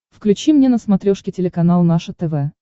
включи мне на смотрешке телеканал наше тв